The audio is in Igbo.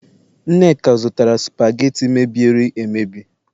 nneka zụtara supagetti mebieri emebi